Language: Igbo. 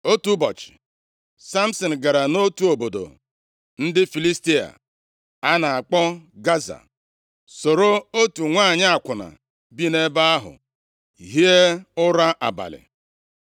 Otu ụbọchị, Samsin gara nʼotu obodo ndị Filistia a na-akpọ Gaza, soro otu nwanyị akwụna bi nʼebe ahụ hie ụra abalị.